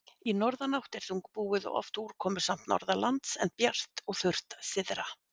Í norðanátt er þungbúið og oft úrkomusamt norðanlands, en bjart og þurrt syðra.